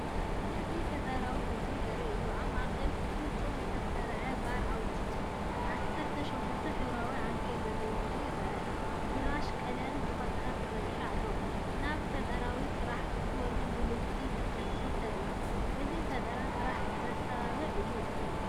እዚ ፈጠራዊ ሕብራዊ ዘርኢ እዩ፡ኣብ ማእከል ፍጹም ዝተሰርዐ ባር ኣብ ውሽጡ ዓሰርተ ሸሞንተ ሕብራዊ ዓንኬላት ዘለዎ ኮይኑ ይርአ፣ ብራሽ ቀለም ብቐጥታ ተዘርጊሑ ኣሎ፡ ናብ ፈጠራዊ ስራሕ ክትወርድ ድልውቲ ክትመስል ተራእያ። እዚ ንፈጠራን ስራሕ ዘተባብዕ እዩ።